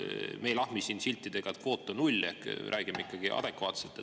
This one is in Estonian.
Me ei lahmi siin siltidega, et kvoot olgu null, ehk räägime ikkagi adekvaatselt.